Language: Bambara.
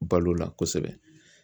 Balo la kosɛbɛ